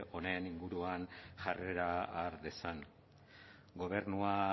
honen inguruan jarrera har dezan gobernua